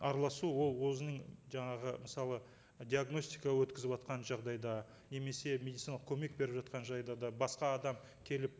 араласу ол өзінің жаңағы мысалы диагностика өткізіватқан жағдайда немесе медициналық көмек беріп жатқан жағдайда басқа адам келіп